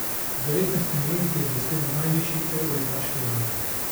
Z devetnajstimi leti je blestel na najvišji evroligaški ravni.